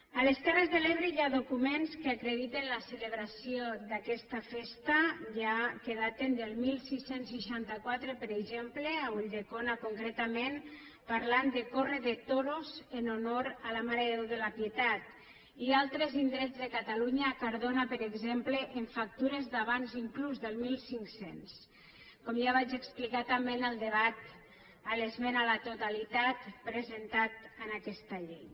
a les terres de l’ebre hi ha documents que acrediten la celebració d’aquesta festa ja que daten del setze seixanta quatre per exemple a ulldecona concretament parlant de córrer de toros en honor a la mare de déu de la pietat i a altres indrets de catalunya a cardona per exemple amb factures d’abans inclús del mil cinc cents com ja vaig explicar també en el debat a l’esmena a la totalitat presentat en aquesta llei